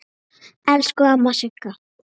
Elsku amma Sigga.